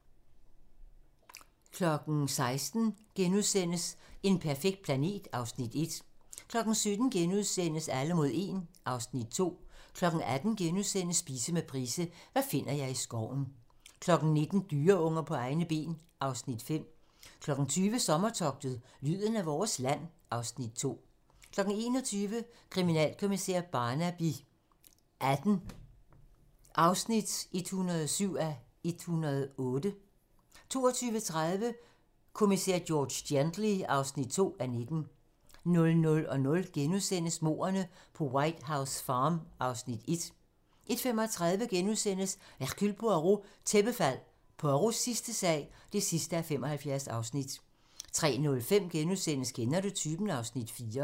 16:00: En perfekt planet (Afs. 1)* 17:00: Alle mod 1 (Afs. 2)* 18:00: Spise med Price - hvad finder jeg i skoven * 19:00: Dyreunger på egne ben (Afs. 5) 20:00: Sommertogtet – lyden af vores land (Afs. 2) 21:00: Kriminalkommissær Barnaby XVIII (107:108) 22:30: Kommissær George Gently (2:19) 00:00: Mordene på White House Farm (Afs. 1)* 01:35: Hercule Poirot: Tæppefald - Poirots sidste sag (75:75)* 03:05: Kender du typen? (Afs. 4)*